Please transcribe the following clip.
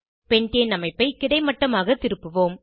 பெண்டேன் அமைப்பை கிடைமட்டமாக திருப்புவோம்